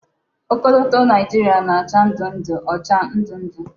Okoloto Naijiria na-acha ndu-ndu ocha ndu-ndu